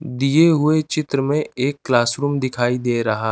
दिए हुए चित्र में एक क्लास रूम दिखाई दे रहा--